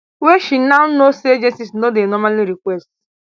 wey she now know say agencies no dey normally request